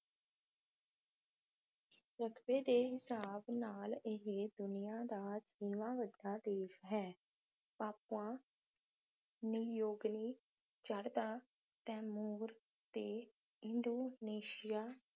ਰਕਬੇ ਦੇ ਹਿਸਾਬ ਨਾਲ ਇਹ ਦੁਨੀਆ ਦਾ ਛੇਵਾਂ ਵੱਡਾ ਦੇਸ਼ ਹੈ ਪਾਪੂਆ ਨਿਯੋਗਨੀ, ਚੜ੍ਹਦਾ ਤੈਮੂਰ ਤੇ ਇੰਡੋਨੇਸ਼ੀਆ